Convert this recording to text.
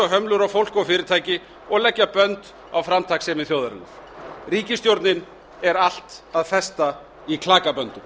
og hömlur á fólk og fyrirtæki og leggja bönd á framtakssemi þjóðarinnar ríkisstjórnin er allt að festa í klakaböndum